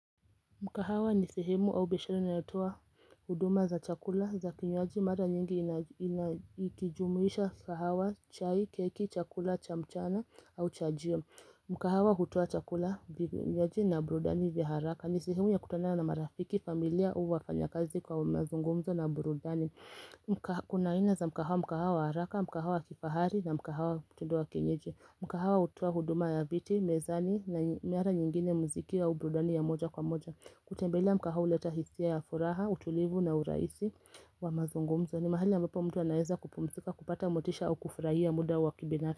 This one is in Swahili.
Mkahawa ni sehemu au biashara inalotoa huduma za chakula za kinywaji mara nyingi ina inaikijumuisha sahawa chai, keki, chakula, chamchana au chajio. Mkahawa hutoa chakula vinywaji na brudani vya haraka. Ni sehemu ya kutana na marafiki familia au wafanya kazi kwa umazungumzo na burudani. Mka Kuna aina za mkahawa mkahawa wa haraka, mkahawa kifahari na mkahawa tinduwa kienyeji. Mkahawa hutoa huduma ya viti, mezani na miara nyingine mziki au brudani ya moja kwa moja. Kutembelea mkahau uleta hisia ya furaha, utulivu na uraisi wa mazungumzo ni mahali ambapo mtu anaeza kupumzika, kupata motisha au kufraia muda wa kibinari.